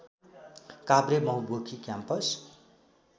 काभ्रे बहुमुखी क्याम्पस